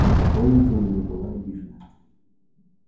и поклонниками не была обижена